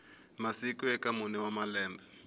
masiku eka mune wa malembe